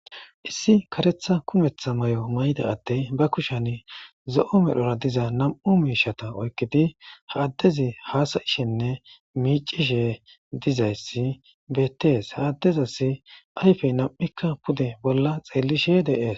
issi karetha kumetha may7o mayda addey ba kushen zo7o medhora diza nam7u miishata oykkidi ha addezi haasayishenne miicishe dizayssi bettees haaddezasi ayfey nam7ikka pude bolla xeellishe deees